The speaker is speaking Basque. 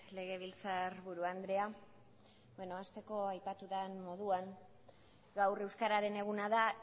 legebiltzarburu andrea hasteko aipatu dan moduan gaur euskararen eguna da